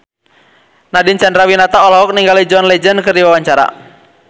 Nadine Chandrawinata olohok ningali John Legend keur diwawancara